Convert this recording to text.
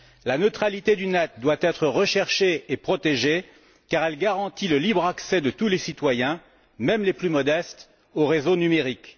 La neutralité du net doit être recherchée et protégée car elle garantit le libre accès de tous les citoyens, même les plus modestes, au réseau numérique.